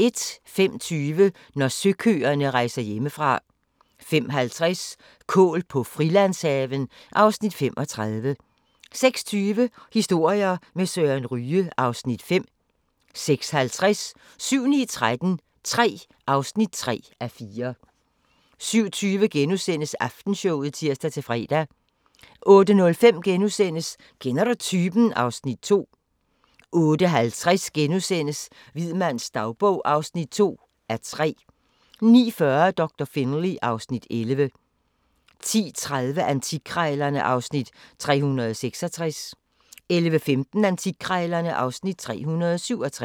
05:20: Når søkøerne rejser hjemmefra 05:50: Kål på Frilandshaven (Afs. 35) 06:20: Historier med Søren Ryge (Afs. 5) 06:50: 7-9-13 III (3:4) 07:20: Aftenshowet *(tir-fre) 08:05: Kender du typen? (Afs. 2)* 08:50: Hvid mands dagbog (2:3)* 09:40: Doktor Finlay (Afs. 11) 10:30: Antikkrejlerne (Afs. 366) 11:15: Antikkrejlerne (Afs. 367)